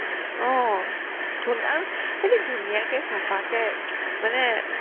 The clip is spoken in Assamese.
অ, ধুনী আৰু সিহতে ধুনীয়াকে চাফাকে মানে